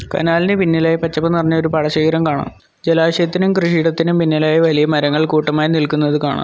കനാലിനു പിന്നിലായി പച്ചപ്പ് നിറഞ്ഞ ഒരു പാടശേഖരം കാണാം ജലാശയത്തിനും കൃഷിയിടത്തിനും പിന്നിലായി വലിയ മരങ്ങൾ കൂട്ടമായി നിൽക്കുന്നത് കാണാം.